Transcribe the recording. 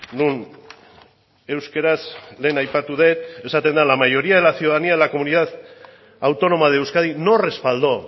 non euskaraz lehen aipatu dut esaten da la mayoría de la ciudadanía de la comunidad autónoma de euskadi no respaldó